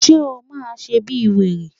Ṣé o máa ṣe bíi wèrè?